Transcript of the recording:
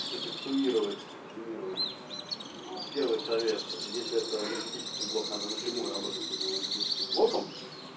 если суммировать резюмировать первый совет если это энергетический блок надо напрямую работать с этим энергетическим блоком